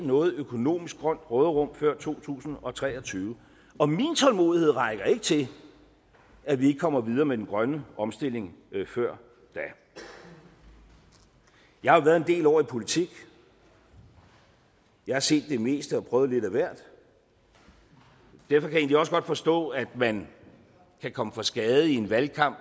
noget økonomisk grønt råderum før to tusind og tre og tyve og min tålmodighed rækker ikke til at vi ikke kommer videre med den grønne omstilling før da jeg har været en del år i politik jeg har set det meste og prøvet lidt af hvert derfor kan jeg egentlig også godt forstå at man kan komme for skade i en valgkamp